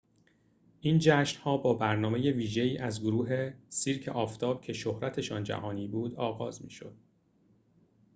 این جشن‌ها با برنامه ویژه‌ای از گروه سیرک آفتاب که شهرتشان جهانی بود آغاز می‌شد